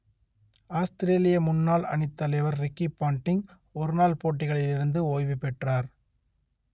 ஆஸ்த்திரேலிய முன்னாள் அணித்தலைவர் Ricky Ponting ஒரு நாள் போட்டிகளிலிருந்து ஓய்வு பெற்றார்